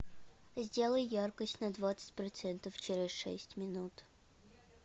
сделай яркость на двадцать процентов через шесть минут